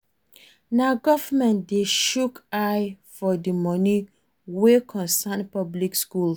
Na government de shook eye for the moni wey concern public schools